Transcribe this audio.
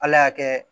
Ala y'a kɛ